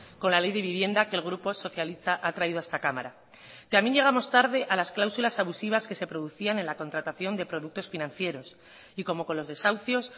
con la ley de vivienda que el grupo socialista ha traído a esta cámara también llegamos tarde a las cláusulas abusivas que se producían en la contratación de productos financieros y como con los desahucios